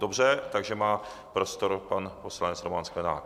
Dobře, takže má prostor pan poslanec Roman Sklenák.